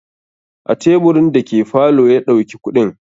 A teburin da ke falo ya ɗauki kuɗin.